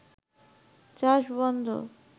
চাষ বন্ধ